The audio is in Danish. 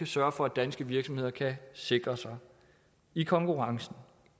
sørger for at danske virksomheder kan sikre sig i konkurrencen